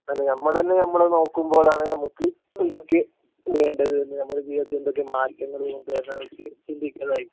അതന്നെ ഞമ്മളെന്നെ ഞമ്മളെ നോക്കുമ്പോഴാണ് ഞമ്മക് എന്തൊക്കെ വേണ്ടത് എന്ന് നമ്മുടെ ജീവിതത്തിൽ എന്തൊക്കെ മാറ്റങ്ങള് കൊണ്ടുവരണ്ടെ എന്നൊക്കെ ചിന്തിക്കുന്നതായിരിക്കും